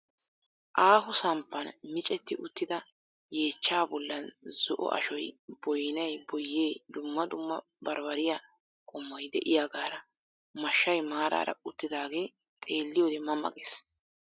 Aaho samppaan miccetti uttida yeechchaa bollaan zo"o ashshoy boynay boyyee dumma dumma baribbariyaa qommoy de'iyaagaara mashshay maaraara uttidaagee xeelliyoode ma ma gees.